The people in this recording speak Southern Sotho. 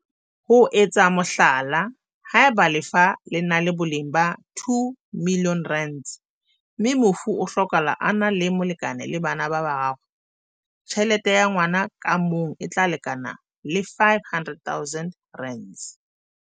Ho etsa mohlala, haeba lefa le na le boleng ba R2 milione mme mofu a hlokahala a na le molekane le bana ba bararo, tjhelete ya ngwa na ka mong e tla lekana le R500 000.